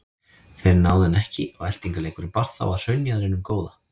Þeir náðu henni ekki og eltingaleikurinn bar þá að hraunjaðrinum góða.